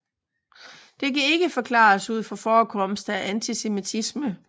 Det kan ikke forklares ud fra forekomst af antisemittisme